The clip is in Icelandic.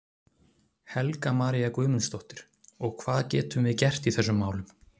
Helga María Guðmundsdóttir: Og hvað getum við gert í þessum málum?